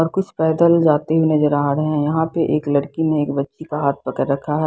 और कुछ पैदल जाते हुए नज़र आ रहे हैं यहां पे एक लड़की ने एक बच्ची का हाथ पकड़ रखा है।